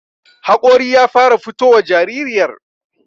haƙori ya fara fitowa jaririyar